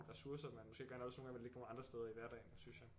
Ressourcer man måske gerne også vil ligge nogle andre steder i hverdagen synes jeg